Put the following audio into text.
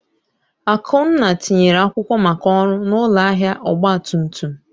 Akunna tinyere akwụkwọ maka ọrụ na ụlọ ahịa ọgba tum tum.